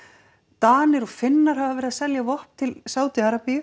Danir og Finnar hafa verið að selja vopn til Sádi Arabíu